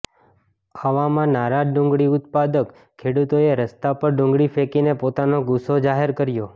આવામાં નારાજ ડુંગળી ઉત્પાદક ખેડૂતોએ રસ્તા પર ડુંગળી ફેંકીને પોતાનો ગુસ્સો જાહેર કર્યો